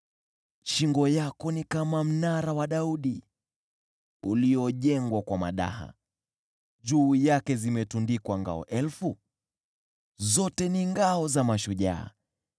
Shingo yako ni kama mnara wa Daudi, uliojengwa kwa madaha, juu yake zimetundikwa ngao elfu, zote ni ngao za mashujaa.